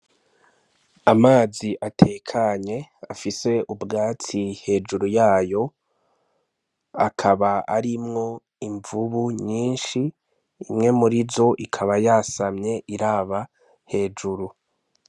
Amazi atekanye afise ubwatsi hejuru yayo, akaba arimwo imvubu nyinshi, imwe murizo ikaba yasamye iraba hejuru.